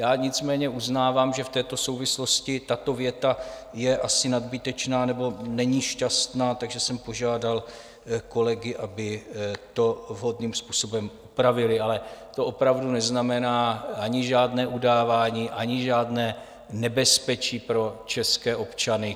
Já nicméně uznávám, že v této souvislosti tato věta je asi nadbytečná nebo není šťastná, takže jsem požádal kolegy, aby to vhodným způsobem upravili, ale to opravdu neznamená ani žádné udávání, ani žádné nebezpečí pro české občany.